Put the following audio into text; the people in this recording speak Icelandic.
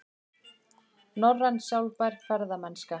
Norræn sjálfbær ferðamennska